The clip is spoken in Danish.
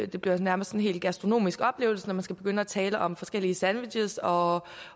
det bliver nærmest en helt gastronomisk oplevelse når man skal begynde at tale om forskellige sandwiches og